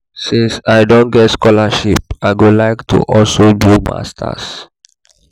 since i don get scholarship i go like to also also do masters